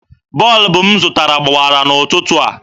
Bọlbụ m zụtara gbawara n'ụtụtụ a.